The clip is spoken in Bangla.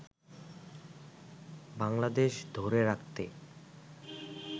বাংলাদেশ ধরে রাখতে